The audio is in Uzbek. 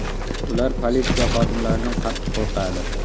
Ular politsiya xodimlaridan qattiq qo‘rqadi.